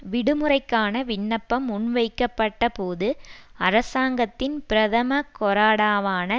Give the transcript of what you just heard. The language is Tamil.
விடுமுறைக்கான விண்ணப்பம் முன்வைக்கப்பட்ட போது அரசாங்கத்தின் பிரதம கொறடாவான